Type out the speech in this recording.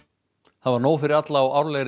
það var nóg fyrir alla á árlegri